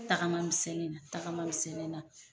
Tagama misɛnni na, tagama misɛnni na